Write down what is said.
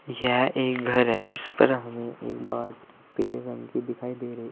यह एक घर है जिस पर हमें एक पीले रंग की दिखाई दे रही।